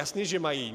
Jasně že mají.